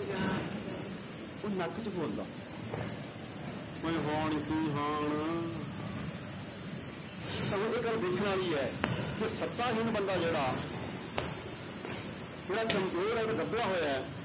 ਉਹ ਨੱਕ 'ਚ ਬੋਲਦਾ ਉਏ ਹੋਣ ਕੀ ਹਾਣ ਆ ਤਾਂ ਇਹ ਗੱਲ ਵੇਖਣ ਵਾਲੀ ਹੈ ਕਿ ਸੱਤਾਹੀਣ ਬੰਦਾ ਜਿਹੜਾ ਜਿਹੜਾ ਕੰਮਜ਼ੋਰ ਔਰ ਦੱਬਿਆ ਹੋਇਆ ਹੈ